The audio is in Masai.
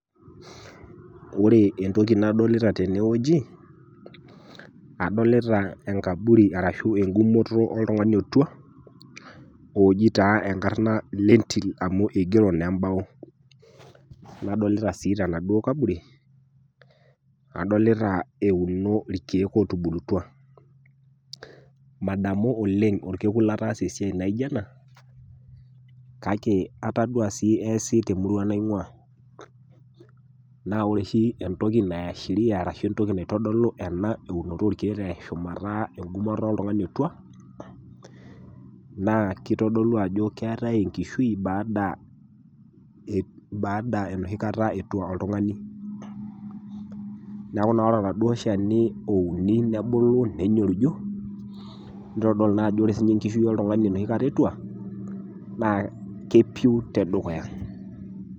Ore entoki nadolita teneweji, adolita enkabui ashu enkumoto oltungani otua oji taa enkarna lentim amu eigero naa embao, nadolita sii tenaduo nkaburi, adolita euno irkeek ootubulutwa, madamu oleng olkokun lataasa esiaai naijo ena kake atadua sii easi te murrua nainguaa naa ore sii entoki naishiria arashu entoki naitodolu ena unoto orkiek arashu mataa enkumoto oltungani otuaa naa keitodolu ajo keatai enkishui baada enoshi nkata etua oltungani, neaku ore naa eladuo lsheni ouni nebulu nenyoriju neitodlu naa ajo ore sii ninye enkishui eltungani enoshi kata etua naa kepiu te dukuya.